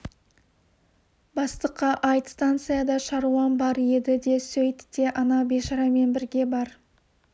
бастыққа айт станцияда шаруам бар еді де сөйт те ана бейшарамен бірге бар